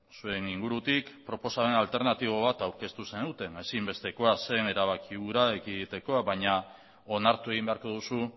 zuen ingurutik proposamen alternatibo bat aurkeztu zenuten ezinbestekoa zen erabaki hura ekiditeko baina onartu egin beharko duzu